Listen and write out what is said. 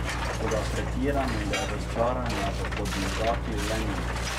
Toda pretiranega razočaranja v Podmežakli le ni.